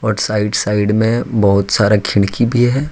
और side side में बहुत सारा खिड़की भी है।